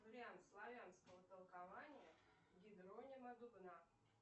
вариант славянского толкования